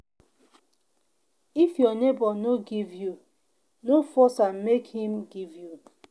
if your neighbor no give you no force am make im give you